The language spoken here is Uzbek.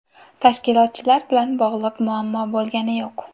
Tashkilotchilar bilan bog‘liq muammo bo‘lgani yo‘q.